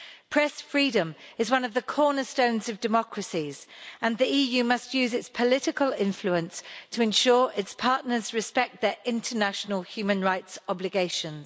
Press freedom is one of the cornerstones of democracies, and the EU must use its political influence to ensure its partners respect their international human rights obligations.